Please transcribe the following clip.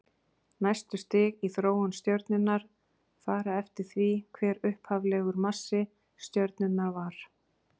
Næstu stig í þróun stjörnunnar fara eftir því hver upphaflegur massi stjörnunnar var.